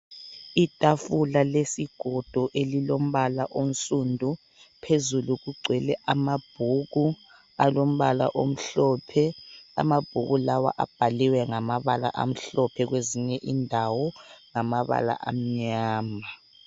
Itafula lesigodo elilombala onsundu, phezulu kugcwele amabhuku alombala omhlophe. Amabhuku lawa abhaliwe ngamabala amhlophe kwezinye indawo ngamabala amnyama.